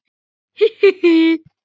Tröðin létt heim eftir vöðin.